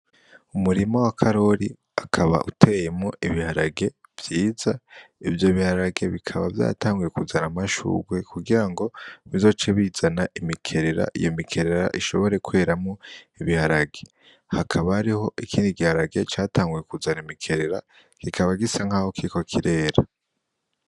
Umurima wa karori akaba uteyemwo ibiharage vyiza, ivyo biharage bikaba vyatanguye kuzana amashugwe kugirango bizoce bizana imikerera iyo mikerera ishobore kweramwo ibiharage, hakaba hariho ikindi giharage catanguye kuzana imikerera kikaba gisa nkaho kiriko kirera.